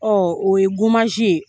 Ɔ o ye ye